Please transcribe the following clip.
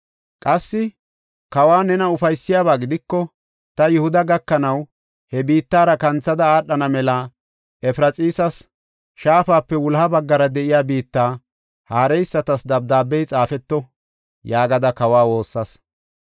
Qassi, “Kawa, nena ufaysiyabaa gidiko, ta Yihuda gakanaw he biittara kanthada aadhana mela Efraxiisa shaafape wuloha baggara de7iya biitta haareysatas dabdaabey xaafeto” yaagada kawa woossas.